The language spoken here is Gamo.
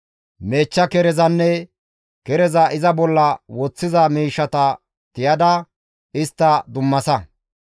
Meechcha kerezanne kereza iza bolla woththiza miishshata tiyada istta dummasa.